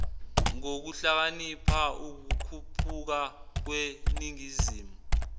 ngokuhlakanipha ukukhuphuka kweningizimu